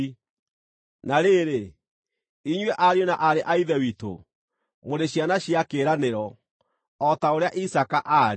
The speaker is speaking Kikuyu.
Na rĩrĩ, inyuĩ ariũ na aarĩ a Ithe witũ, mũrĩ ciana cia kĩĩranĩro, o ta ũrĩa Isaaka aarĩ.